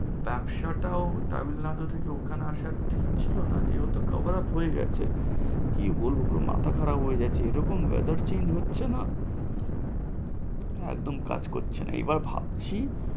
ব্যবসা টাও তামিল নাড়ু থেকে ওখানে আসার ঠিক ছিল না, যেহেতু cover up হয়ে গেছে। কি বলব মাথা খারাপ হয়ে গেছে, এরকম weather change হচ্ছে না, একদম কাজ করছে না, এবার ভাবছি